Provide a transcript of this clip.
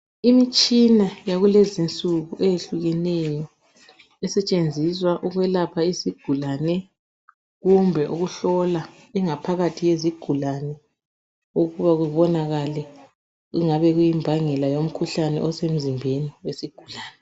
Imitshina yakulezinsuku eyehlukeneyo esetshenziswa ukwelapha isigulane kumbe ukuhlola ingaphakathi yezigulane ukuba kubonakale okungabe kuyimbangela yomkhuhlane osemzimbeni wesigulane.